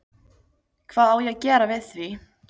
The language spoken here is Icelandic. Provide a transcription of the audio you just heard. Hvað á ég að gera við því?